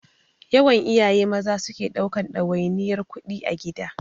Yawan iyaye Maza suke ɗaukan ɗawainiyar kuɗi a gida.